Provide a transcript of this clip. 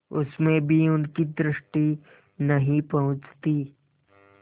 उसमें भी उनकी दृष्टि नहीं पहुँचती